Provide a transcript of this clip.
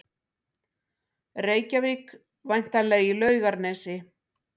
Reykjavík, væntanlega í Laugarnesi.